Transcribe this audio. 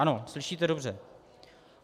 Ano, slyšíte dobře.